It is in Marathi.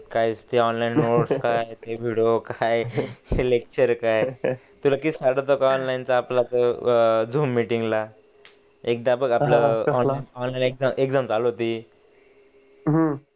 काय ते ऑनलाइन नोट्स काय ते वेडीओ काय ते लेक्चर काय तुला एक केस आठवतो काय ऑनलाइन च तो झूम मीटिंग ला एकदा बघ आपला ऑनलाइन एक्झॅम चालू होती हम्म